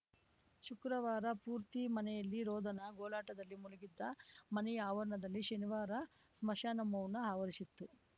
ಶುಕ್ರವಾರ ಪೂರ್ತಿ ಮನೆಯಲ್ಲಿ ರೋದನ ಗೋಳಾಟದಲ್ಲಿ ಮುಳುಗಿದ್ದ ಮನೆಯ ಆವರಣದಲ್ಲಿ ಶನಿವಾರ ಸ್ಮಶಾನ ಮೌನ ಆವರಿಸಿತ್ತು